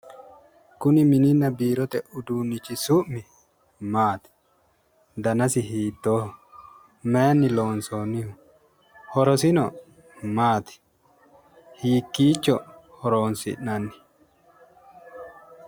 Kuni mininna biirote uduunnichi maati? Danasi hiittooho? Mayinni loonsoonniho? Horosino maati? Hiikkiicho horoonsi'nanni?